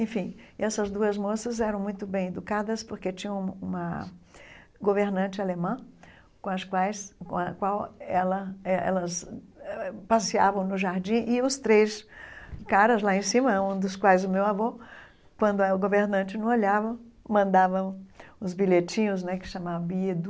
Enfim, e essas duas moças eram muito bem educadas, porque tinham uma governante alemã com as quais com a qual ela eh elas passeavam no jardim, e os três caras lá em cima, um dos quais o meu avô, quando a governante não olhava, mandava os bilhetinhos né, que se chamava Biedu,